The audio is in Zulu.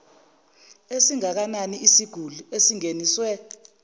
esingakanani eyisiguli esingeniswe